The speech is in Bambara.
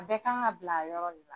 A bɛɛ ka kan ka bila a yɔrɔ de la.